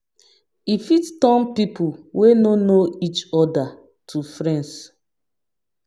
E fit turn pipo wey no know each oda to friends